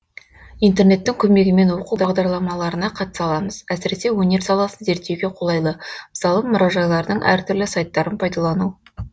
интернеттің көмегімен оқу бағдарламаларына қатыса аламыз әсіресе өнер саласын зерттеуге қолайлы мысалы мұражайлардың әр түрлі сайттарын пайдалану